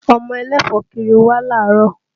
Ọmọ ẹlẹ́fọ̀ọ́ kiri wá láàárọ̀